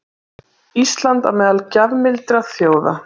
Ísland á meðal gjafmildra þjóða